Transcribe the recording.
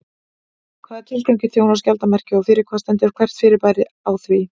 Hvaða tilgangi þjónar skjaldarmerkið og fyrir hvað stendur hvert fyrirbæri á því?